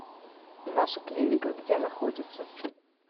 наша клиника где находится